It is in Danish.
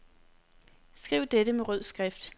Skriv dette med rød skrift.